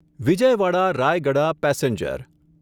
Vijayawada Rayagada passenger